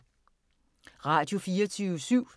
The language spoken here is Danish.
Radio24syv